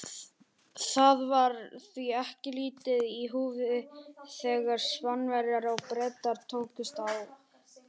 Það var því ekki lítið í húfi þegar Spánverjar og Bretar tókust á.